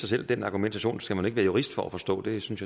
selv den argumentation skal man ikke være jurist for at forstå det synes